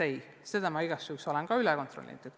Ei, ka selle olen ma igaks juhuks üle kontrollinud.